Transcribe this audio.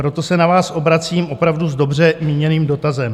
Proto se na vás obracím opravdu s dobře míněným dotazem.